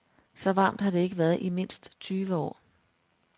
Så varmt har det ikke været i mindst tyve år.